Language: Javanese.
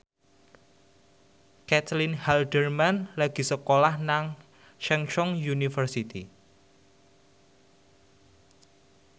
Caitlin Halderman lagi sekolah nang Chungceong University